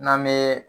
N'an bee